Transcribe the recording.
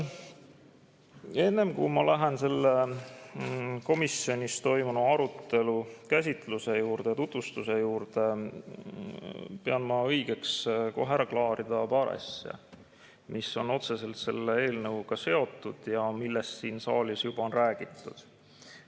Enne kui ma lähen komisjonis toimunud arutelu käsitluse ja tutvustuse juurde, pean õigeks kohe ära klaarida paar asja, mis on otseselt selle eelnõuga seotud ja millest siin saalis juba on räägitud.